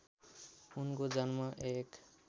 उनको जन्म १